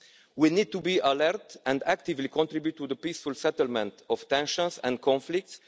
We need to be alert and actively contribute to the peaceful settlement of tensions and conflicts.